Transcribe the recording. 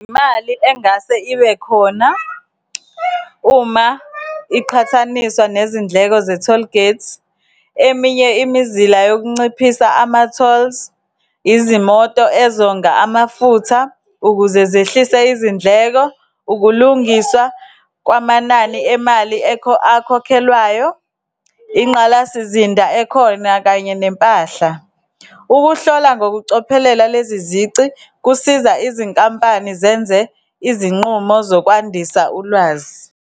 Imali engase ibe khona uma iqhathaniswa nezindleko ze-tollgate, eminye imizila yokunciphisa ama-tolls, izimoto ezonga amafutha ukuze zehlise izindleko, ukulungiswa kwamanani emali akhokhelwayo, inqalasizinda ekhona, kanye nempahla. Ukuhlola ngokucophelela lezi zici kusiza izinkampani zenze izinqumo zokwandisa ulwazi.